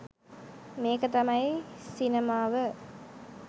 මේක තමයි සිනමාව